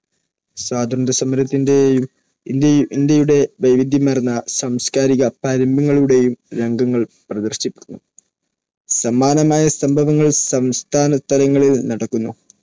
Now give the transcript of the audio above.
സ്വാതന്ത്ര്യസമരത്തിന്റെയും ഇന്ത്യയുടെ വൈവിധ്യമാർന്ന സാംസ്കാരിക പാരമ്പര്യങ്ങളുടെയും രംഗങ്ങൾ പ്രദർശിപ്പിക്കുന്നു. സമാനമായ സംഭവങ്ങൾ സംസ്ഥാന തലസ്ഥാനങ്ങളിൽ നടക്കുന്നു.